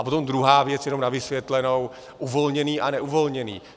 A potom druhá věc jenom na vysvětlenou - uvolněný a neuvolněný.